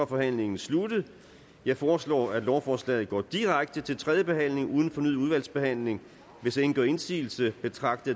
forhandlingen sluttet jeg foreslår at lovforslaget går direkte til tredje behandling uden fornyet udvalgsbehandling hvis ingen gør indsigelse betragter